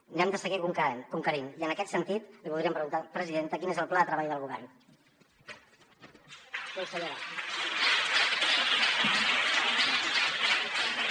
n’hem de seguir conquerint i en aquest sentit li voldríem preguntar presidenta quin és el pla de treball del govern consellera